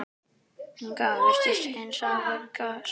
Inga virtist hins vegar sæl.